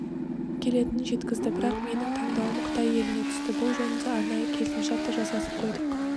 келетінін жеткізді бірақ менің таңдауым қытай еліне түсті бұл жөнінде арнайы келісімшарт та жасасып қойдық